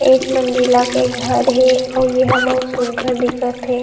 एक मंजिला के घर हे अऊ एहा बहुत सुघघर दिखत हे।